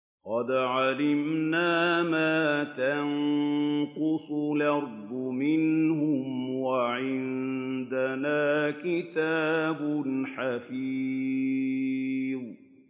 قَدْ عَلِمْنَا مَا تَنقُصُ الْأَرْضُ مِنْهُمْ ۖ وَعِندَنَا كِتَابٌ حَفِيظٌ